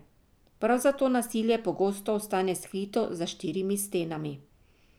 Prav zato nasilje pogosto ostane skrito za štirimi stenami.